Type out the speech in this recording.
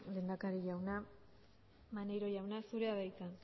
lehendakari jauna maneiro jauna zurea da hitza